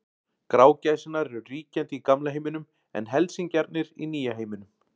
Grágæsirnar eru ríkjandi í gamla heiminum en helsingjarnir í nýja heiminum.